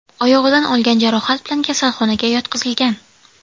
oyog‘idan olgan jarohat bilan kasalxonaga yotqizilgan.